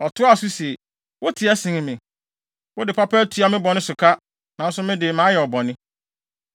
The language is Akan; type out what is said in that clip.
Ɔtoaa so se, “Woteɛ sen me. Wode papa atua me bɔne so ka, nanso me de mayɛ wo bɔne.